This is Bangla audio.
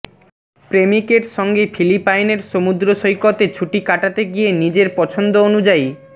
প্রেমিকের সঙ্গে ফিলিপাইনের সমুদ্রসৈকতে ছুটি কাটাতে গিয়ে নিজের পছন্দ অনুযায়ী